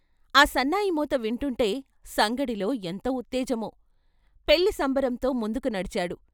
ఆ సన్నాయిమోత వింటూంటే సంగడిలో ఎంత ఉత్తేజమో ॥ పెళ్ళి సంబరంతో ముందుకు నడిచాడు.